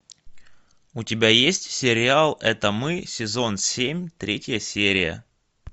у тебя есть сериал это мы сезон семь третья серия